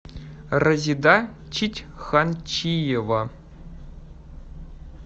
разида читьханчиева